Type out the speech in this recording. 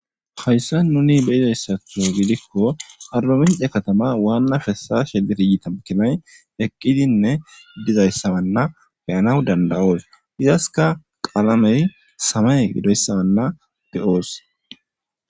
Haysan nuni beyizaysatho gidiko arba mince katama Wana kesashe dirjite makiney eqidinne dozaysanne beyanaw danda'os izaska qalamey samaye gidoysa beyos